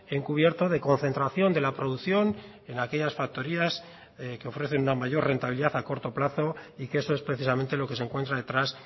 encubierto de concentración de la producción en aquellas factorías que ofrecen una mayor rentabilidad a corto plazo y que eso es precisamente lo que se encuentra detrás